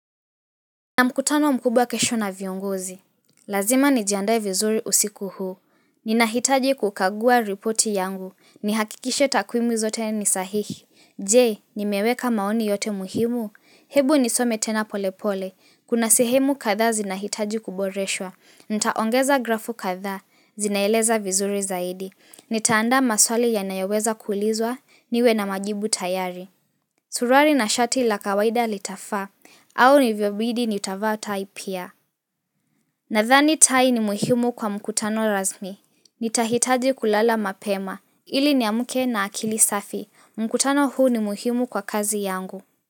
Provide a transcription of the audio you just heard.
Nina mkutano mkubwa kesho na viongozi. Lazima nijiandae vizuri usiku huu. Ninahitaji kukagua repoti yangu. Nihakikishe takwimu zote ni sahihi. Je, nimeweka maoni yote muhimu? Hebu nisome tena polepole. Kuna sehemu kadhaa zinahitaji kuboreshwa. Nitaongeza grafu kadhaa. Zinaeleza vizuri zaidi. Nitaandaa maswali yanayoweza kuulizwa. Niwe na majibu tayari. Suruali na shati la kawaida litafaa. Au nivyobidi nitavaa tai pia. Nadhani tai ni muhimu kwa mkutano rasmi. Nitahitaji kulala mapema, ili niamke na akili safi. Mkutano huu ni muhimu kwa kazi yangu.